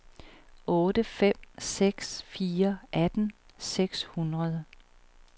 otte fem seks fire atten seks hundrede